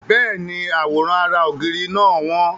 Bẹ́ẹ̀ni, àwòrán ara ògiri náà wọ́n.